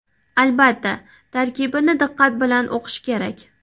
Albatta, tarkibini diqqat bilan o‘qish kerak.